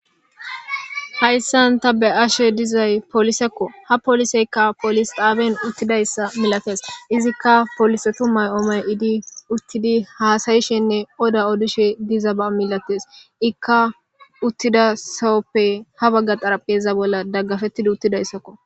hayssan ta be ashe dizay polisekko ha poliseykka polis xaaben uttidayssa milates izikka polisetu may7omay idi uttidi haasayishenne oda odishe dizaba milates ikka uttida sowoppe ha bagga xarapeza bolla daggafettida uttidayssakko